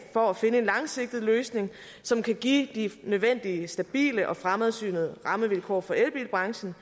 på at finde en langsigtet løsning som kan give de nødvendige stabile og fremsynede rammevilkår for elbilbranchen